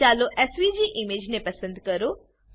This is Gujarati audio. ચાલો એસવીજી ઈમેજ ને પસંદ કરો